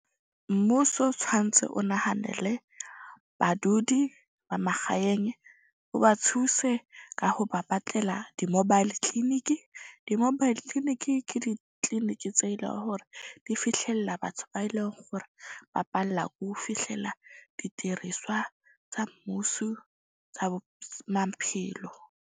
Mmuso tshwantse o nahanele badudi ba magaeng, o ba thuse ka ho ba batlela di-mobile clinic-i. Di-mobile clinic-i ke di-clinic-i tse leng hore di fihlella batho be eleng gore ba palla ko fihlela didiriswa tsa mmuso tsa maphelo.